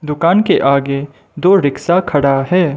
दुकान के आगे दो रिक्शा खड़ा है।